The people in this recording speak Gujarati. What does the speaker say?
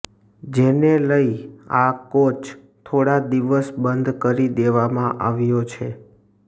જેને લઈ આ કોચ થોડા દિવસ બંધ કરી દેવામાં આવ્યો છે